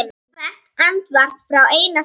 Hvert andvarp frá einmana sál.